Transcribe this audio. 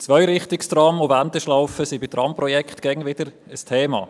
Zweirichtungstrams und Wendeschlaufen werden bei Tramprojekten immer wieder zum Thema.